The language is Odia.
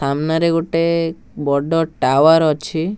ସାମ୍ନାରେ ଗୋଟେ ବଡ଼ ଟାୱାର ଅଛି।